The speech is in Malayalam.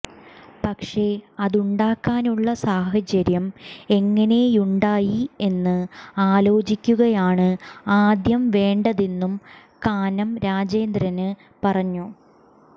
പക്ഷേ അതുണ്ടാകാനുള്ള സാഹചര്യം എങ്ങനെയുണ്ടായി എന്ന് ആലോചിക്കുകയാണ് ആദ്യം വേണ്ടതെന്നും കാനം രാജേന്ദ്രന് പറഞ്ഞു